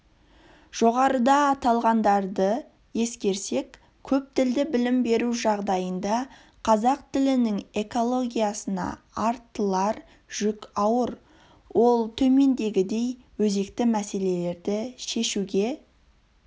жоғарыда аталғандарды ескерсек көптілді білім беру жағдайында қазақ тілінің экологиясына артылар жүк ауыр ол төмендегідей өзекті мәселелерді шешуге